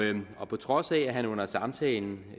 på trods af at han under samtalen